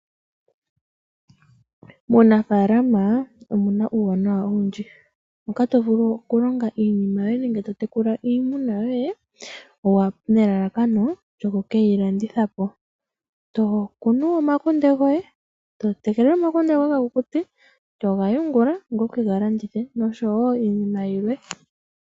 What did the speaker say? Munafaalama omuna uuwanawa owundji moka tovulu okulonga iinima yoye nenge totekula iimuna yoye, nelalakano lyoku keyilanditha po, tokunu omakunde goye, totekele omukunde goye ga kukute toga ungula wu kega landithe oshowo iinima yilwe.